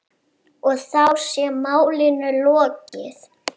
Og þá sé málinu lokið.